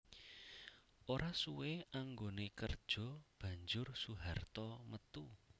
Ora suwé anggoné kerja banjur Soeharto metu